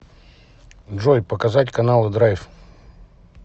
джой показать каналы драйв